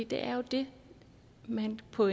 det er jo det man på